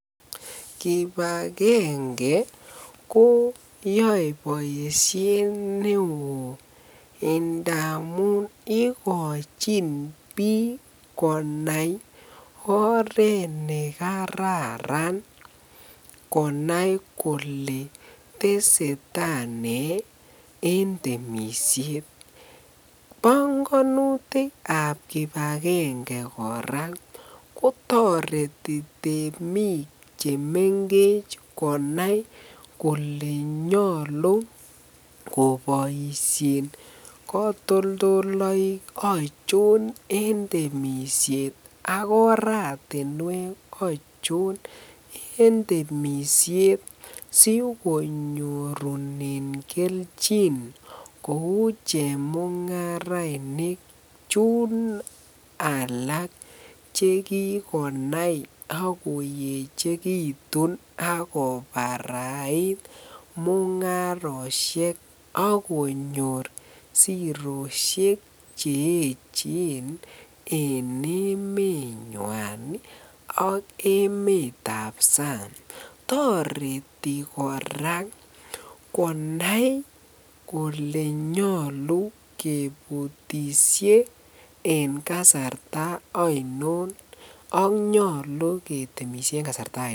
Kibakenge koyoe boishet neoo amun ikochin biik konai oreet nekararan konai kolee teseta nee en temishet, bongonutikab kibakenge kora kotoreti temiik chemengech konai kolee nyolu koboishen kotoldoloik achon en temishet ak oratinwek ochon en temishet sikonyorunen kelchin kou chemungarainik chun alak chekikonai ak koyechekitun ak kobarait mungaroshek ak konyor siroshek che echen en emenywan ak emetab sang, toreti kora konai kolee nyolu kebutishe en kasarta ainon ak nyolu ketemishe en kasarta ainon.